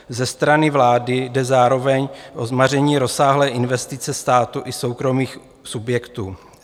Ze strany vlády jde zároveň o zmaření rozsáhlé investice státu i soukromých subjektů.